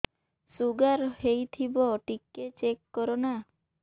sugar ହେଇଥିବ ଟିକେ check କର ନା